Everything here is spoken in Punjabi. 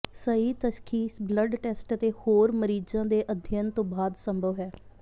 ਸਹੀ ਤਸ਼ਖੀਸ ਬਲੱਡ ਟੈਸਟ ਅਤੇ ਹੋਰ ਮਰੀਜ਼ਾਂ ਦੇ ਅਧਿਐਨ ਤੋਂ ਬਾਅਦ ਸੰਭਵ ਹੈ